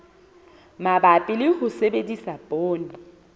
mabapi le ho sebedisa poone